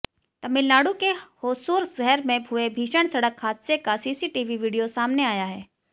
तमिलनाडु के होसुर शहर में हुए भीषण सड़क हादसे का सीसीटीवी वीडियो सामने आया है